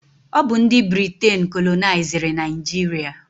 Ọ bụ ndị Briten kolonaiziri Naijiria.